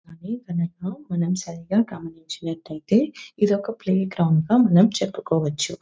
అది కనుక మనం సరిగ్గా గమనించినట్లయితే ఇది ఒక ప్లేగ్రౌండ్ గా మనం చెప్పుకోవచ్చు.